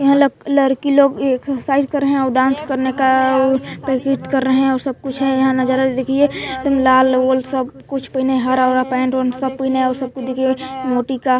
यहाँ ल लड़की लोग एक्ससाइज रहे हैं और डांस करने का आ आ प्रैक्टिस कर रहे हैं सब कुछ है यहाँ नजारा देखिए लाल- ओल और सब कुछ पहने हैं हरा -ओरा पेंट ओंट सब कुछ नया और सब कोई देखिए मोती का --